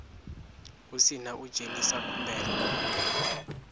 hu sina u dzhenisa khumbelo